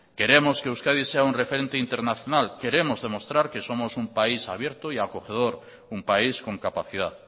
queremos que euskadi sea un referente internacional queremos demostrar que somos un país abierto y acogedor un país con capacidad